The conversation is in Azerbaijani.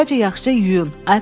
Əvvəlcə yaxşıca yuyun.